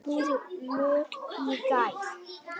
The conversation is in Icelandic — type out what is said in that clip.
Útboði lauk í gær.